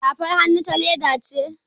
Safar hannun ta leda ce